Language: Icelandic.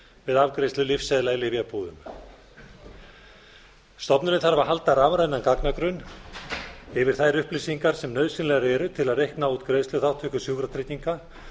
við afgreiðslu lyfseðla í lyfjabúðum stofnunin þarf að halda rafrænan gagnagrunn yfir þær upplýsingar sem nauðsynlegar eru til að reikna út greiðsluþátttöku sjúkratrygginga